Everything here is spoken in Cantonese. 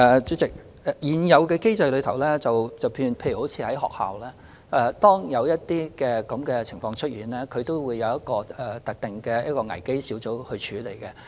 主席，根據現有機制，例如當學校出現這種情況時，有關的事情會交由一個特定的危機小組處理。